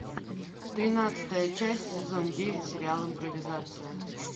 тринадцатая часть сезон девять сериал импровизация